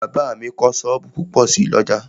Bàbá mi kọ́ sọ́ọ̀bù púpọ̀ sí l'ọ́jà